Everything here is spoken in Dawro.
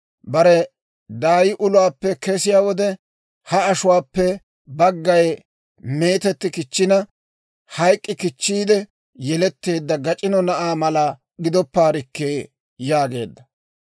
Bare daay uluwaappe kesiyaa wode, Aa ashuwaappe baggay meetetti kichchina, hayk'k'i kichchiide yeletteedda gac'ino na'aa mala gidoppaarekkee» yaageedda.